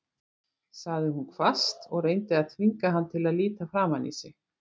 sagði hún hvasst og reyndi að þvinga hann til að líta framan í sig.